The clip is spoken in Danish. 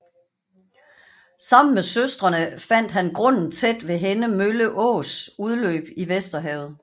Sammen med søstrene fandt han grunden tæt ved Henne Mølle Ås udløb i Vesterhavet